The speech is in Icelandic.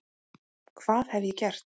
Hvað hef ég gert?